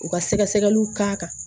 U ka sɛgɛsɛgɛliw k'a kan